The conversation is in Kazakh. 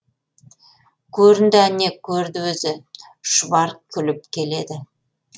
көрінді әне көрді өзі шұбар күліп келеді